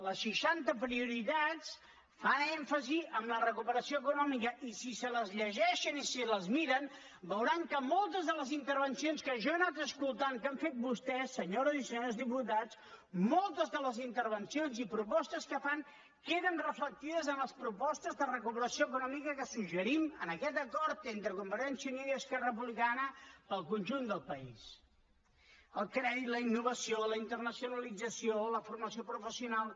les seixanta prioritats fan èmfasi en la recuperació econòmica i si se les llegeixen i se les miren veuran que moltes de les intervencions que jo he anat escoltant que han fet vostès senyores i senyors diputats moltes de les intervencions i propostes que fan queden reflectides en les propostes de recuperació econòmica que suggerim en aquest acord entre convergència i unió i esquerra republicana per al conjunt del país el crèdit la innovació la internacionalització la formació professional